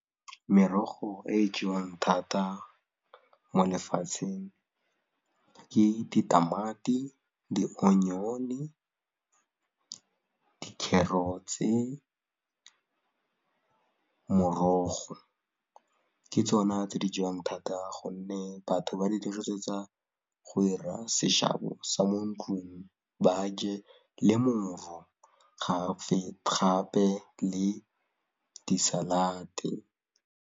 Merogo e e jewang thata mo lefatsheng ke ditamati, dionyone, di-carrots-e, morogo ke tsona tse di jewang thata gonne batho ba di dirisetsa go 'ira seshabo sa mo ntlung ba je le moro gape le di salate.